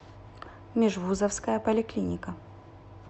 межвузовская поликлиника